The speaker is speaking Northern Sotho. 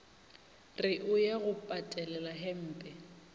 re o ya go patelelahempe